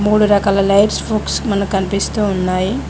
మూడు రకాల lights proofs మనకు కనిపిస్తూ ఉన్నాయి.